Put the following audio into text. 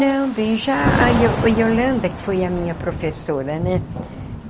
Não, bem, já a a Yolanda, que foi a minha professora, né?